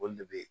O de bɛ